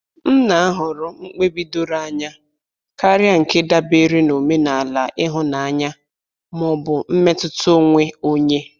M na-ahọrọ mkpebi doro anya karịa nke dabere n'omenala ihunanya ma ọ bụ mmetụta onwe onye.